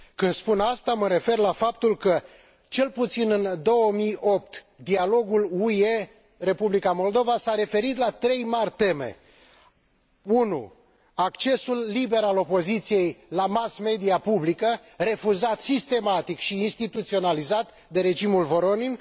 Când spun aceasta, mă refer la faptul că cel puțin în 2008 dialogul UE Republica Moldova s a referit la trei mari teme a accesul liber al opoziției la mass media publică, refuzat sistematic și instituționalizat de regimul Voronin